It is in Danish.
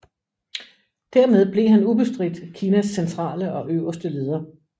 Dermed blev han ubestridt Kinas centrale og øverste leder